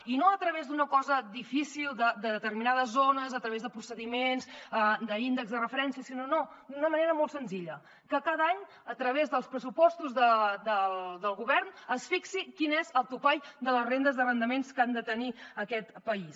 i no a través d’una cosa difícil de determinades zones a través de procediments d’índexs de referència sinó d’una manera molt senzilla que cada any a través dels pressupostos del govern es fixi quin és el topall de les rendes d’arrendaments que ha de tenir aquest país